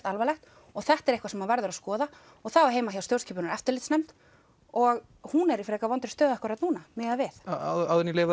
alvarlegt og þetta er eitthvað sem verður að skoða og það á heima hjá stjórnskipunar og eftirlitsnefnd og hún er í frekar vondri stöðu akkurat núna miðað við áður en ég